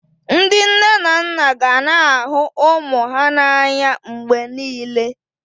Ndị nne na nna ga na-ahụ ụmụ ha n'anya mgbe niile